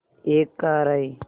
एक कार आई